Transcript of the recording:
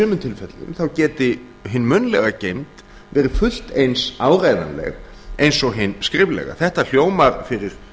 tilfellum þá geti hin munnlega geymd verið fullt eins áreiðanleg eins og hin skriflega þetta hljómar fyrir